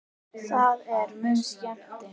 Það er mun skemmti